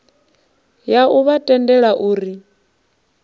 ya u vha tendela uri